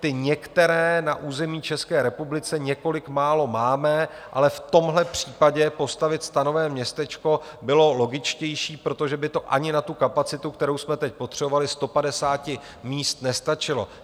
Ty některé na území České republiky, několik málo, máme, ale v tomhle případě postavit stanové městečko bylo logičtější, protože by to ani na tu kapacitu, kterou jsme teď potřebovali, 150 míst nestačilo.